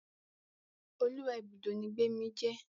Oluwa Ibùdó ní Gbemi jé.